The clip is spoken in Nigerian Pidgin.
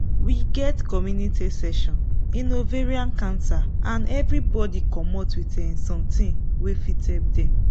we get community session in ovarian cancer and everybody commot with um something wey fit help dem